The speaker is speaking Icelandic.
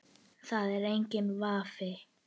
Það er enginn vafi.